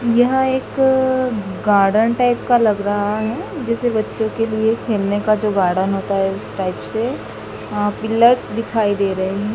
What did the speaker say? यह एक garden type का लग रहा है जिसे बच्चों के लिए खेलने का जो गार्डन होता है उस टाइप से अह पिलर्स दिखाई दे रहे हैं।